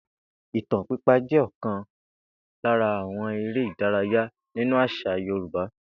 Ìtàn pípa jé̩ ò̩kan lára àwo̩n eré ìdárayá nínú às̩à Yorùbá